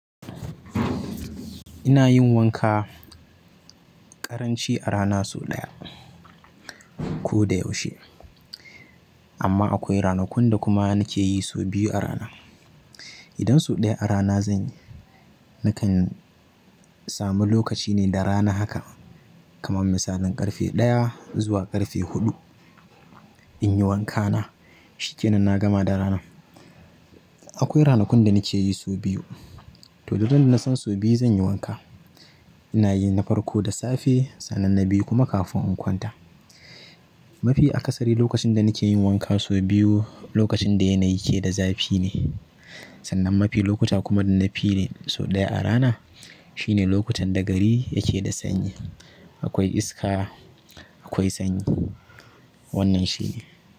Ina yin wanka ƙaranci a rana so ɗaya ko da yaushe. Amma akwai ranakun da kuma nike yi so biyu a rana. Idan so ɗaya a rana zanyi, nakan samu lokaci ne da rana haka kaman misalin ƙarfe ɗaya zuwa ƙarfe huɗu. Inyi wankana shikenan na gama da ranan. Akwai ranakun da nike yi so biyu. To duk ran da nasan sau biyu zanyi wanka, inayi na farko da safe sannan na biyu kuma kafin in kwanta. Mafi akasari lokacin da nike yin wanka so biyu lokacin da yanayi ke da zafi ne sannan mafi lokuta kuma da na fi yi ne so ɗaya a rana shine lokutan da gari yake da sanyi. Akwai iska, akwai sanyi wannan shine.